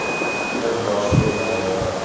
Minerva, spilaðu lag.